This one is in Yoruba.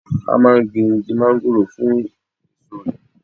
A máa gbìn Igi Mángóròò fún èso rè.